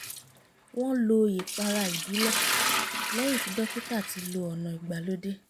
wọ́n lo ìpara ìbílẹ̀ lẹ́yìn tí dókítà ti lo ọ̀nà ìgbàlódé